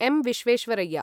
M. Visvesvaraya